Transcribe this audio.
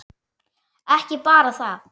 Ekki bara það.